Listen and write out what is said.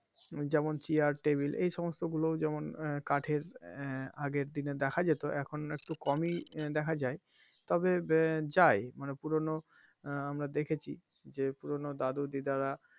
যেমন chair table এই সমস্ত গুলো যেমন কাঠের আহ আগের দিনে দেখা যেত এখন একটু কমই দেখা যায় তবে আহ যায় পুরনো আহ আমরা দেখেছি যে পুরনো দাদু দিদা রা,